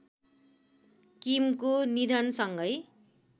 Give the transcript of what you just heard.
किमको निधनसँगै